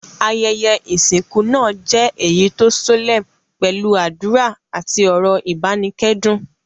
Ayẹyẹ ìsìnkú náà je eyi to solemn pẹ́lu àdùrà àti ọ́rọ́ ìbánikẹ́dùn